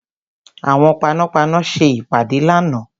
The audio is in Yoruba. Àwọn panápaná ṣe ìpàdé lánàá.